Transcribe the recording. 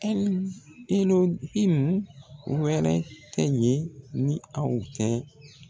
Ɛli elohine wɛrɛ tɛ yen ni aw tɛ.